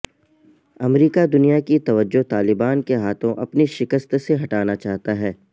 امریکہ دنیا کی توجہ طالبان کے ہاتھوں اپنی شکست سے ہٹانا چاہتا ہے